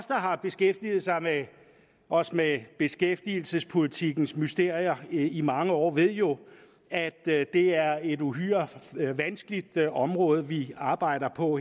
har beskæftiget os med beskæftigelsespolitikkens mysterier i mange år ved jo at det er et uhyre vanskeligt område vi arbejder på